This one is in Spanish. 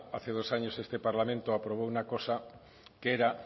hace dos años este parlamento aprobó una cosa que era